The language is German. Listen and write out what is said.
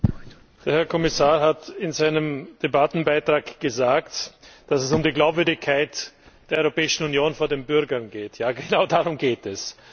Herr Präsident! Der Herr Kommissar hat in seinem Debattenbeitrag gesagt, dass es um die Glaubwürdigkeit der Europäischen Union vor den Bürgern geht. Ja, genau darum geht es!